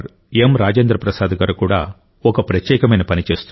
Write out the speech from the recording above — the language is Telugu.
రాజేంద్ర ప్రసాద్ గారు కూడా ఒక ప్రత్యేకమైన పని చేస్తున్నారు